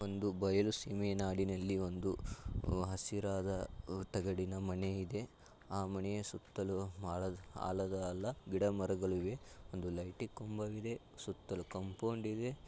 ಒಂದು ಬಯಲು ಸೀಮೆ ನಾಡಿನಲ್ಲಿ ಒಂದು ಹಸಿರಾದ ಆಹ್ ತಗಡಿನ ಮನೆ ಇದೆ ಆ ಮನೆಯ ಸುತ್ತಲೂ ಆಲದ ಆಲದ ಅಲ್ಲ ಗಿಡಮರಗಳು ಇವೆ ಒಂದು ಲೈಟು ಕಂಬವಿದೆ ಸುತ್ತಲೂ ಕಾಂಪೌಂಡ್ ಇದೆ.